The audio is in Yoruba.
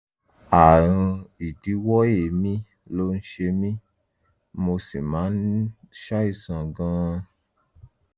ààrùn ìdíwọ́ èémí ló ń ṣe mí mo sì máa ń ṣàìsàn gan-an